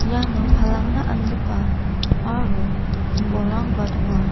iano palangna angipa aro kombolrangba donga.